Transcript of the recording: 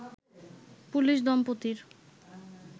police দম্পতির